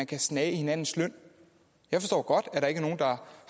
kan snage i hinandens løn der